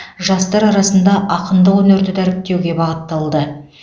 жастар арасында ақындық өнерді дәріптеуге бағытталды